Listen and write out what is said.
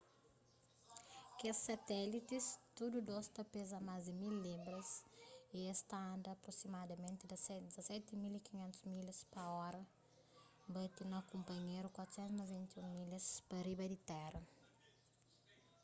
kes satélitis tudu dôs ta peza más di 1.000 libras y es ta anda aprosimadamenti 17.500 milhas pa ora bati na kunpanhéru 491 milhas pa riba di téra